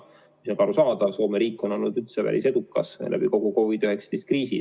See on ka arusaadav, Soome riik on olnud päris edukas kogu COVID-19 kriisi ajal.